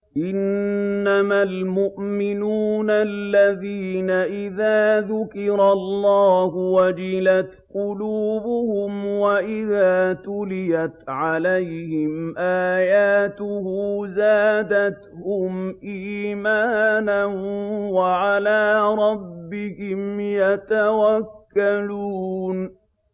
إِنَّمَا الْمُؤْمِنُونَ الَّذِينَ إِذَا ذُكِرَ اللَّهُ وَجِلَتْ قُلُوبُهُمْ وَإِذَا تُلِيَتْ عَلَيْهِمْ آيَاتُهُ زَادَتْهُمْ إِيمَانًا وَعَلَىٰ رَبِّهِمْ يَتَوَكَّلُونَ